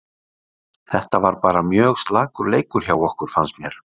Þetta var bara mjög slakur leikur hjá okkur fannst mér.